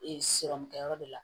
Ee sirɔmukɛ yɔrɔ de la